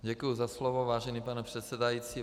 Děkuji za slovo, vážený pane předsedající.